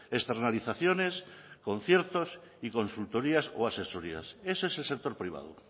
externalizaciones conciertos y consultorías o asesorías ese es el sector privado